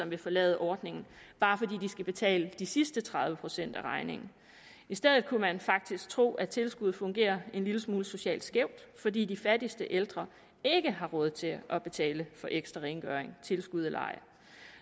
vil forlade ordningen bare fordi de skal betale de sidste tredive procent af regningen i stedet kunne man faktisk tro at tilskuddet fungerer en lille smule socialt skævt fordi de fattigste ældre ikke har råd til at betale for ekstra rengøring tilskud eller ej